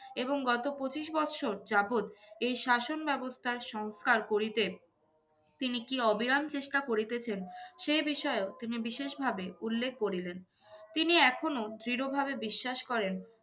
এবং গত পঁচিশ বৎসর যাবৎ এই শাসন ব্যবস্থার সংস্কার করিতে তিনি কী অবিরাম চেষ্টা করিতেছেন সে বিষয়েও তিনি বিশেষ ভাবে উল্লেখ করিলেন। তিনি এখনো দৃঢ় ভাবে বিশ্বাস করেন